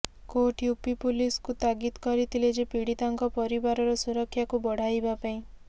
court UP ପୋଲିସକୁ ତାଗିଦ କରିଥିଲେ ଯେ ପୀଡ଼ିତାଙ୍କ ପରିବାରର ସୁରକ୍ଷାକୁ ବଢ଼ାଇବା ପାଇଁ